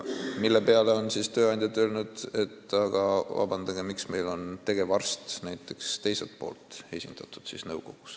Selle peale on tööandjad öelnud: "Aga vabandage, miks on siis nõukogus esindatud tegevarstid teiselt poolt?